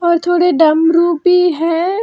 और थोड़े डमरू भी हैं।